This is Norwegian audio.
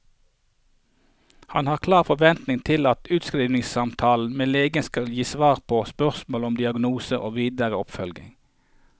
Han har klare forventninger til at utskrivningssamtalen med legen skal gi svar på spørsmål om diagnose og videre oppfølging.